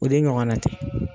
O de ɲɔgɔn na tɛ.